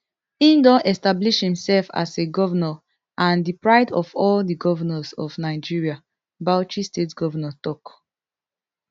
im don establish imsef as a govnor and di pride of all di govnors of nigeria bauchi state govnor tok